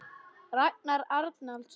Ragnar Arnalds